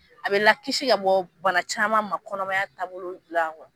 An bɛ n lakisi ka bɔ bana caman ma, kɔnɔmaya taabolo gilan